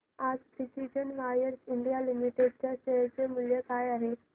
आज precision wires India limited च्या share चे मूल्य काय आहे